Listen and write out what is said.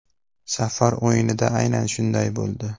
Safar o‘yinida aynan shunday bo‘ldi.